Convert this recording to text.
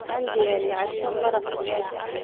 Waxaan diyaariyey casho maraq digaag ah.